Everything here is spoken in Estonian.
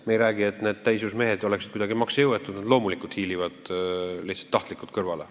Me ei räägi ju sellest, et need täisjõus inimesed on kuidagi maksejõuetud, nad loomulikult hiilivad lihtsalt tahtlikult kõrvale.